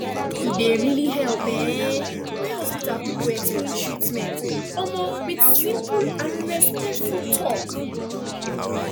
e dey really help um when hospital people explain treatment um with simple and respectful talk